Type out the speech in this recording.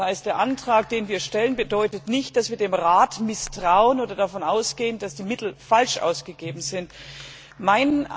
Das heißt, der Antrag, den wir stellen, bedeutet nicht, dass wir dem Rat misstrauen oder davon ausgehen, dass die Mittel falsch ausgegeben wurden.